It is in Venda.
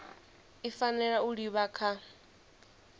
i fanela u livha kha